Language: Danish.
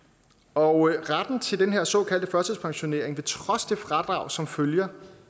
og retten til den her såkaldte førtidspensionering vil trods det fradrag som følger